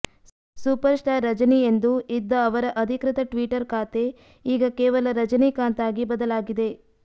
super star Rajini ಎಂದು ಇದ್ದ ಅವರ ಅಧಿಕೃತ ಟ್ವೀಟರ್ ಖಾತೆ ಈಗ ಕೇವಲ ರಜನೀಕಾಂತ್ ಆಗಿ ಬದಲಾಗಿದೆ